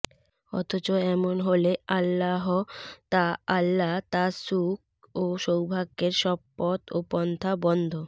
অথচ এমন হলে আল্লাহ তাআলা তার সুখ ও সৌভাগ্যের সব পথ ও পন্থা বন্ধ